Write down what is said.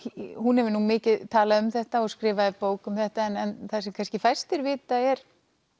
hún hefur nú mikið talað um þetta og skrifaði bók um þetta en það sem kannski fæstir vita er